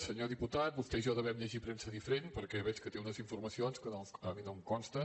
senyor diputat vostè i jo devem llegir premsa diferent perquè veig que té unes informacions que a mi no em consten